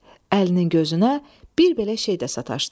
Əlinin gözünə bir belə şey də sataşdı.